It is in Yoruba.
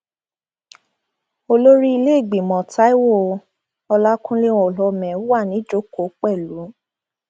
olórí ilé ìgbìmọ taiwo ọlàkùnlé olhomme wà níjokòó pẹlú